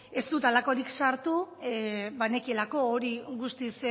ez dut halakorik sartu banekielako